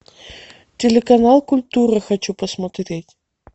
телеканал культура хочу посмотреть